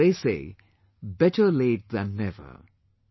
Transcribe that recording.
As they say, 'better late than never'